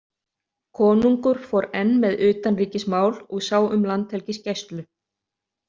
Konungur fór enn með utanríkismál og sá um landhelgisgæslu.